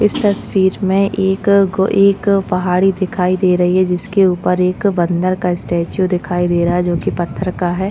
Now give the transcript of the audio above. इस तस्वीर में एक गो एक पहाड़ी दिखाई दे रही है जिसके ऊपर एक बंदर का स्टेचू दिखाई दे रहा है जो की पत्थर का है।